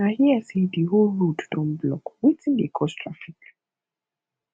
i hear say the whole road don blockwetin dey cause traffic